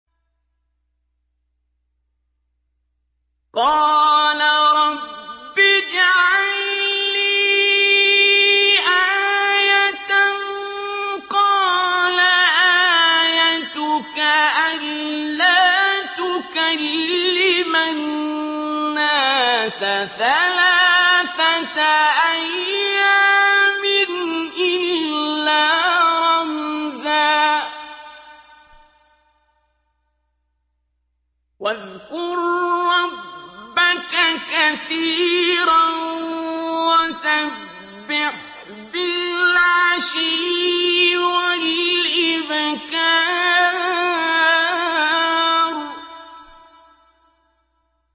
قَالَ رَبِّ اجْعَل لِّي آيَةً ۖ قَالَ آيَتُكَ أَلَّا تُكَلِّمَ النَّاسَ ثَلَاثَةَ أَيَّامٍ إِلَّا رَمْزًا ۗ وَاذْكُر رَّبَّكَ كَثِيرًا وَسَبِّحْ بِالْعَشِيِّ وَالْإِبْكَارِ